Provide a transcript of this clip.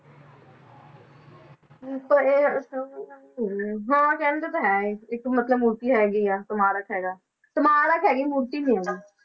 ਹਾਂ ਕਹਿੰਦੇ ਤਾਂ ਹੈ ਇਹ ਇੱਕ ਮਤਲਬ ਮੂਰਤੀ ਹੈਗੀ ਆ ਸਮਾਰਕ ਹੈਗਾ, ਸਮਾਰਕ ਹੈਗਾ ਮੂਰਤੀ ਨੀ ਹੈਗੀ